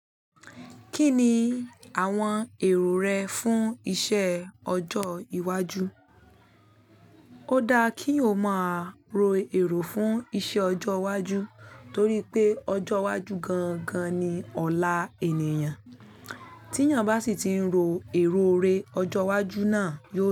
Kí ni àwọn èrò rẹ fún iṣẹ́ ọjọ́ iwájú? O dáa kí èyàn ọ má ro èrò fún ìṣe òjò iwájú, torí pé òjò iwájú gangan ni ọla ènìyàn, tí èyàn bá sì ti ń rò èrò irẹ òjò iwájú na.